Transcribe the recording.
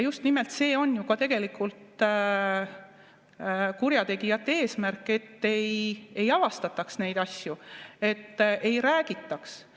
Just nimelt see on ju ka tegelikult kurjategijate eesmärk, et ei avastataks neid asju, et ei räägitaks.